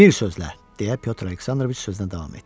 Bir sözlə, deyə Pyotr Aleksandroviç sözünə davam etdi.